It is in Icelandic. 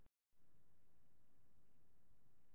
Sigurinn var minn og ég vissi að ég gæti allt sem ég ætlaði mér.